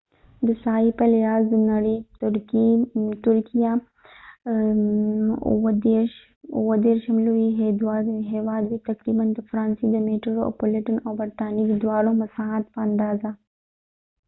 ترکېهturkey د ساحی په لحاظ د نړی 37 اوو ديرشم لوي هیواد دي ، تقریبا د فرانسی د میټرو پولیټن او برطانیې دواړو مساحت په اندازه